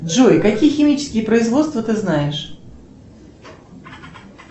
джой какие химические производства ты знаешь